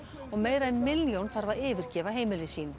og meira en milljón þarf að yfirgefa heimili sín